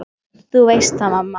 Þú veist það, mamma.